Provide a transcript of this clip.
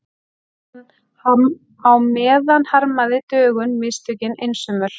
Á meðan harmaði Dögun mistökin einsömul.